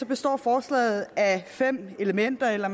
består forslaget af fem elementer eller